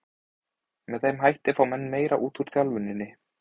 Með þeim hætti fá menn meira út úr þjálfuninni.